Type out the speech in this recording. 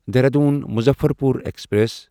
Dehradun Muzaffarpur express